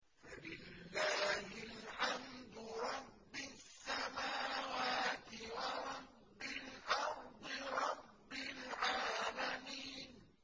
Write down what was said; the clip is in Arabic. فَلِلَّهِ الْحَمْدُ رَبِّ السَّمَاوَاتِ وَرَبِّ الْأَرْضِ رَبِّ الْعَالَمِينَ